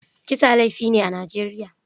Kisa laifi ne a Najeriya.